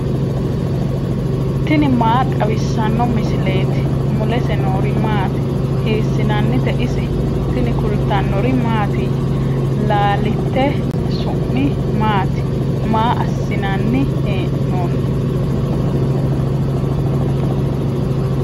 tini maa xawissanno misileeti ? mulese noori maati ? hiissinannite ise ? tini kultannori mattiya? laalitte su'mi maatti? Maa asi'nanni hee'noonni?